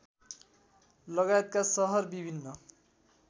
लगायतका सहर विभिन्न